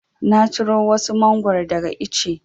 Na ciro wasu Mangwaro daga ice.